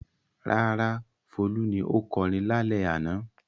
Rárá, Folú ni ó kọrin lálẹ́ àná.